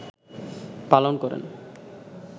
পালন করেন